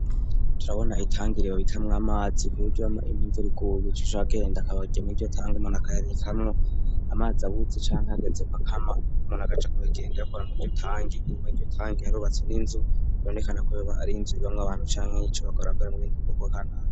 Turabona itangiriba bitamwo amazi ku buryo ama imyinzurikubugicu ca genda akabagya mu ryo tange manakayaritamwo amazi abuze canke hageze kakama umanagaca kurigenda yakora mu ryo tange inyumaryo tange iharubatse n'inzu ibonekana ku baba ari inzu ibamwo abantu canke y'ico bagorabagore mu bindi bikorwa kanara.